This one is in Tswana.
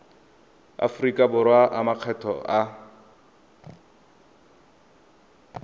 aforika borwa a makgetho a